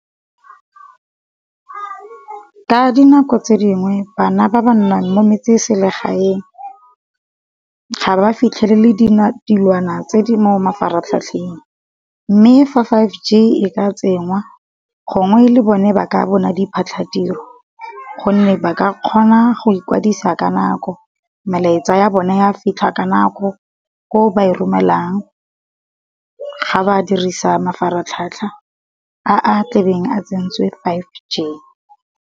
Ka dinako tse dingwe bana ba ba nnang mo metse-selegaeng ga ba fitlhelele dilwana tse di mo mafaratlhatlheng, mme fa five G e ka tsenngwa gongwe le bone ba ka bona diphatlhatiro. Gonne ba ka kgona go ikwadisa ka nako, melaetsa ya bo nna ya fitlha ka nako ko ba e romelang ga ba dirisa mafaratlhatlha a tlabeng a tsentswe five G.